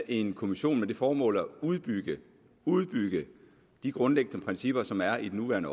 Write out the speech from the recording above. en kommission med det formål at udbygge udbygge de grundlæggende principper som er i den nuværende